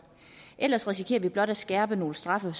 ellers risikerer vi blot at skærpe nogle straffe